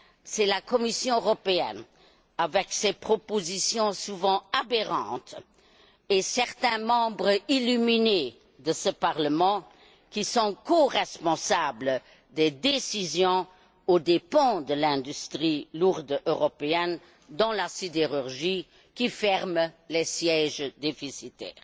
C'est la Commission européenne, avec ses propositions souvent aberrantes, et certains membres illuminés de ce Parlement qui sont coresponsables des décisions aux dépens de l'industrie lourde européenne dans la sidérurgie, qui ferme les sièges déficitaires.